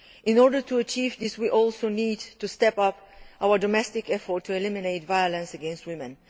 In order to achieve this, we also need to step up our domestic effort to eliminate violence against women.